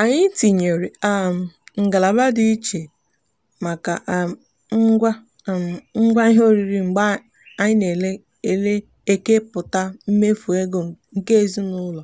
anyị tinyere um ngalaba dị iche maka um ngwa um ngwa ihe oriri mgbe anyị na-eke pụta mmefu ego nke ezinụụlọ